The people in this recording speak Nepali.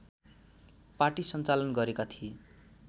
पाटी सञ्चालन गरेका थिए